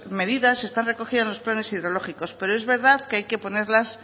medidas están recogidas en los planes hidrológicos pero es verdad que hay que ponerlas